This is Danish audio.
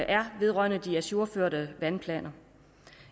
er vedrørende de ajourførte vandplaner